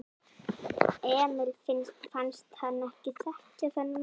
Emil fannst hann ekki þekkja þennan mann.